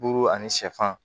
Duuru ani sɛfan